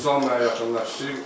Vüsal mənə yaxınlaşdı.